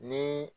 Ni